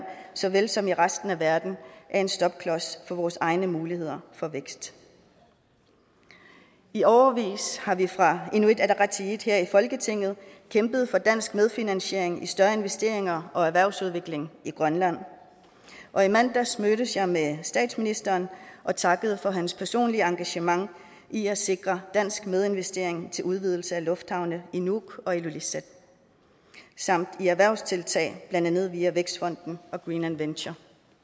så vel som i resten af verden er en stopklods for vores egne muligheder for vækst i årevis har vi fra inuit ataqatigiits side her i folketinget kæmpet for dansk medfinansiering i større investeringer og erhvervsudvikling i grønland og i mandags mødtes jeg med statsministeren og takkede for hans personlige engagement i at sikre dansk medinvestering til udvidelse af lufthavne i nuuk og ilulissat samt i erhvervstiltag blandt andet via vækstfonden og greenland venture